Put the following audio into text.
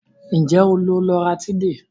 Nje o lo loratiday?